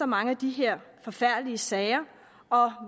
mange af de her forfærdelige sager og jeg